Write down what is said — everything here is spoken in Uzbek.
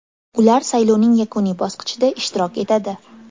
Ular saylovning yakuniy bosqichida ishtirok etadi.